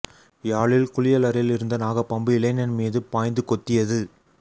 யாழில் குளியலறையில் இருந்த நாக பாம்பு இளைஞன் மீது பாய்ந்து கொத்தியது